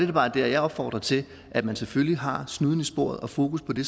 da bare der jeg opfordrer til at man selvfølgelig har snuden i sporet og fokus på det